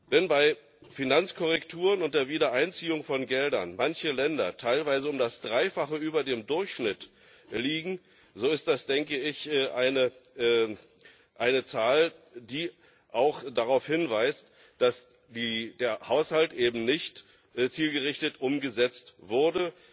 Wenn bei Finanzkorrekturen unter Wiedereinziehung von Geldern manche Länder teilweise um das Dreifache über dem Durchschnitt liegen, so ist das denke ich eine Zahl, die auch darauf hinweist, dass der Haushalt eben nicht zielgerichtet umgesetzt wurde.